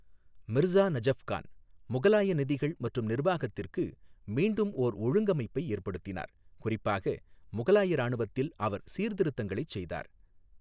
மிர்சா நஜஃப்கான் முகலாய நிதிகள் மற்றும் நிர்வாகத்திற்கு மீண்டும் ஓர் ஒழுங்கமைப்பை ஏற்படுத்தினார், குறிப்பாக முகலாய இராணுவத்தில் அவர் சீர்திருத்தங்களைச் செய்தார்.